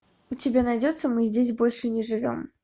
у тебя найдется мы здесь больше не живем